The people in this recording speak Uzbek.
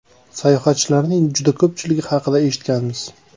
Sayohatchilarning juda ko‘pchiligi haqida eshitganmiz.